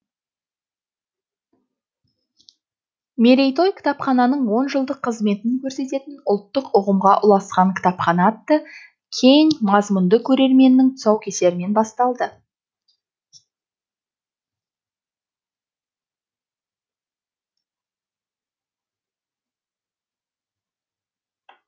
мерейтой кітапхананың он жылдық қызметін көрсететін ұлттық ұғымға ұласқан кітапхана атты кең мазмұнды көрменің тұсаукесерімен басталды